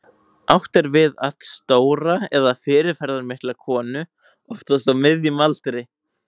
Átt er við allstóra eða fyrirferðarmikla konu, oftast á miðjum aldri.